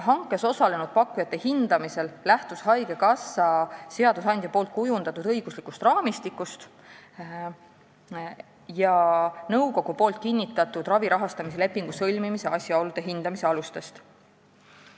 Hankes osalenud pakkujate hindamisel lähtus haigekassa seadusandja kujundatud õiguslikust raamistikust ja nõukogu kinnitatud ravi rahastamise lepingu sõlmimise asjaolude hindamise alustest.